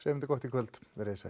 þetta gott í kvöld verið þið sæl